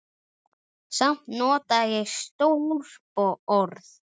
Samt notaði ég stór orð.